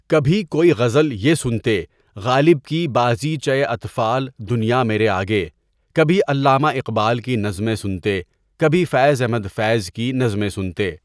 کبھی کوئی غزل یہ سُنتے غالب کی بازیچے اطفالِ دُنیا میرے آگے کبھی علامہ اقبال کی نظمیں سُنتے کبھی فیض احمد فیض کی نظمیں سنتے.